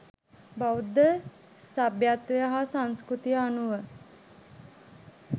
බෞද්ධ සභ්‍යත්වය හා සංස්කෘතිය අනුව